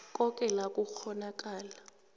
koke la kukghonakala